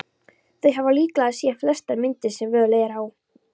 Þau hafa líklega séð flestar myndir sem völ er á.